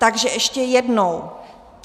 Takže ještě jednou.